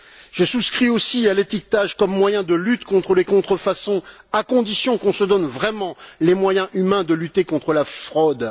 Je souscris aussi à l'étiquetage comme moyen de lutte contre les contrefaçons à condition qu'on se donne vraiment les moyens humains de lutter contre la fraude.